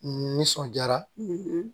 N nisɔndiyara